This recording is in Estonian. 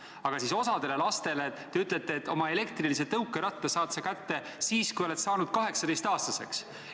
Aga siis osale lastele te ütlete, et oma elektrilise tõukeratta saad sa kätte siis, kui oled saanud 18-aastaseks.